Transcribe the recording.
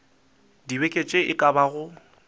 dibeke tše e ka bago